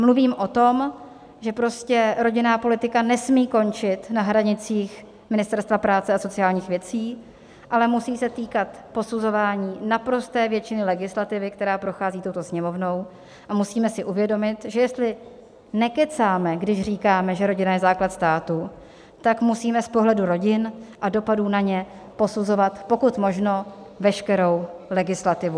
Mluvím o tom, že prostě rodinná politika nesmí končit na hranicích Ministerstva práce a sociálních věcí, ale musí se týkat posuzování naprosté většiny legislativy, která prochází touto Sněmovnou, a musíme si uvědomit, že jestli nekecáme, když říkáme, že rodina je základ státu, tak musíme z pohledu rodin a dopadů na ně posuzovat pokud možno veškerou legislativu.